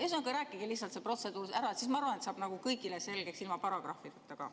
Ühesõnaga, rääkige lihtsalt see protseduur ära, siis, ma arvan, saab see kõigile selgeks, ilma paragrahvideta ka.